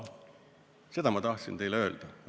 Seda ma tahtsin teile öelda.